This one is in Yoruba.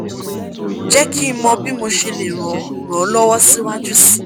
je ki mo bi mo se le ran ran lowo si waju si